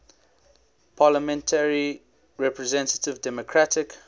parliamentary representative democratic